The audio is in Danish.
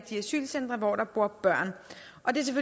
de asylcentre hvor der bor børn